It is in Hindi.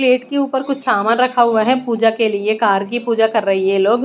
प्लेट के ऊपर कुछ सामान रखा हुआ है पूजा के लिए। कार की पूजा कर रहे हैं ये लोग।